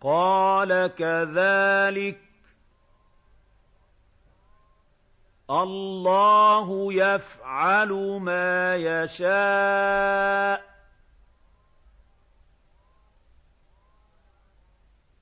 قَالَ كَذَٰلِكَ اللَّهُ يَفْعَلُ مَا يَشَاءُ